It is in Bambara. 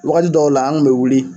Wagati dɔw la an kun be wuli